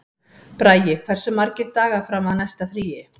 Bragi, hversu margir dagar fram að næsta fríi?